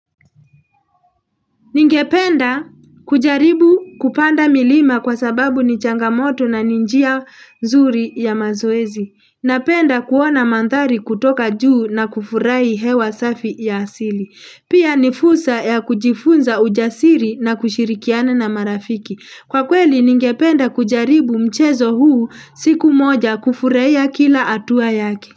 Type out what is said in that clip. Ningependa kujaribu kupanda milima kwa sababu ni changamoto na ninjia zuri ya mazoezi. Napenda kuona mandhari kutoka juu na kufurahi hewa safi ya asili. Pia nifursa ya kujifunza ujasiri na kushirikiana na marafiki. Kwa kweli ningependa kujaribu mchezo huu siku moja kufurahia kila hatua yake.